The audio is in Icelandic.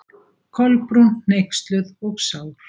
Kolbrún, hneyksluð og sár.